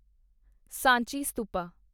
Sanchi stupa